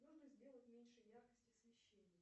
нужно сделать меньше яркость освещения